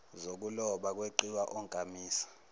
zokuloba kweqiwa onkamisa